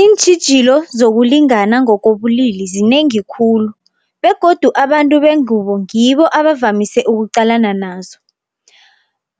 Iintjhijilo zokulingana ngokobulili zinengi khulu begodu abantu bengubo ngibo abavamise ukuqalana nazo.